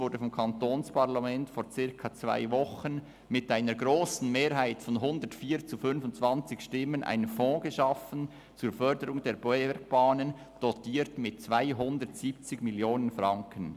Vor einer Woche wurde vom Walliser Kantonsparlament mit einer grossen Mehrheit von 104 Ja- gegen 25 Nein-Stimmen ein Fonds zur Förderung der Bergbahnen geschaffen, dotiert mit 270 Mio. Franken.